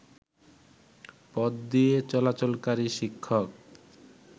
পথদিয়ে চলাচলকারী শিক্ষক